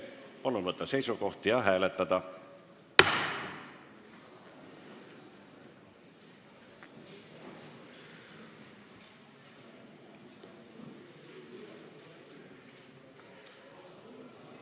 Palun võtta seisukoht ja hääletada!